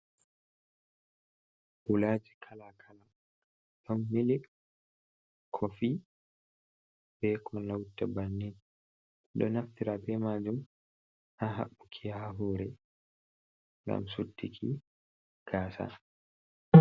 Huulaaji kala kala, ɗon milik, kofi be ko laarata bannin. Ɗo naftira be maajum, haa haɓɓuki haa hoore, ngam suttiki gaasa.